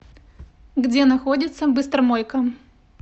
где находится быстромойка